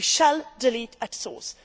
We shall delete at source.